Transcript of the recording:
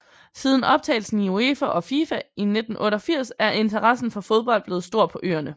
Siden optagelsen i UEFA og FIFA i 1988 er interessen for fodbold blevet stor på øerne